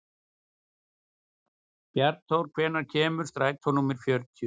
Bjarnþór, hvenær kemur strætó númer fjörutíu?